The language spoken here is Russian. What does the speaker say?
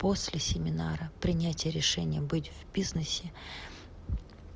после семинара принятия решений быть в бизнесе